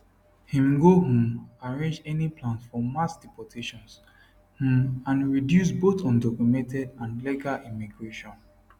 im go um arrange any plans for mass deportations um and reduce both undocumented and legal immigration